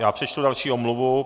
Já přečtu další omluvu.